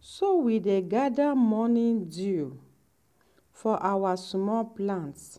so we dey gather morning dew for our small plants.